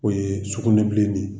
O ye sukunɛbilennin ye